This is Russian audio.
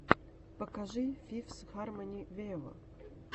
покажи фифс хармони вево